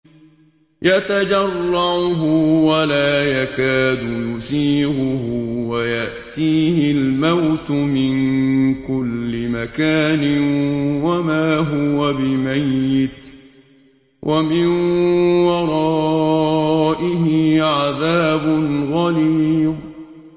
يَتَجَرَّعُهُ وَلَا يَكَادُ يُسِيغُهُ وَيَأْتِيهِ الْمَوْتُ مِن كُلِّ مَكَانٍ وَمَا هُوَ بِمَيِّتٍ ۖ وَمِن وَرَائِهِ عَذَابٌ غَلِيظٌ